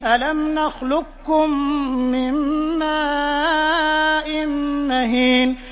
أَلَمْ نَخْلُقكُّم مِّن مَّاءٍ مَّهِينٍ